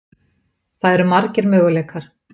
Það eru margir möguleikar.